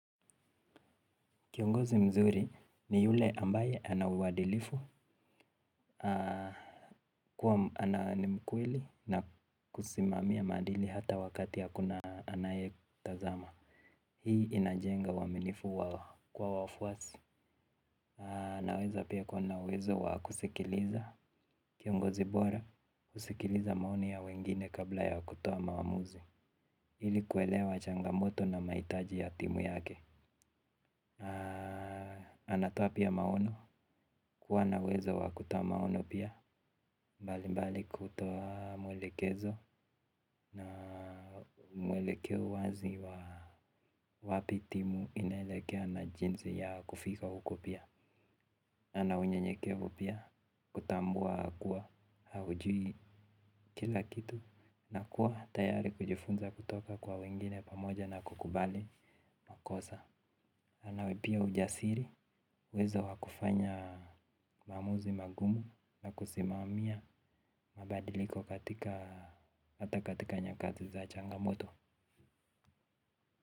Kiongozi mzuri ni yule ambaye ana uadilifu. Kwa ana ni mkweli na kusimamia maadili hata wakati hakuna anayetazama. Hii inajenga uaminifu kwa wafuasi. Naweza pia kuwa na uwezo wa kusikiliza. Kiongozi bora husikiliza maoni ya wengine kabla ya kutoa maamuzi ili kuelewa changamoto na mahitaji ya timu yake. Anatoa pia maono kuwa na uwezo wa kutoa maono pia. Mbali mbali kutoa mwelekezo na mwelekeo wazi wa wapi timu inaelekea na jinsi ya kufika huko pia. Ana unyenyekevu pia kutambua kuwa haujui kila kitu. Na kuwa tayari kujifunza kutoka kwa wengine pamoja na kukubali makosa. Ana pia ujasiri uwezo wa kufanya maamuzi magumu na kusimamia mabadiliko katika hata katika nyakati za changamoto.